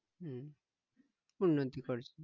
হম উন্নতি করেছে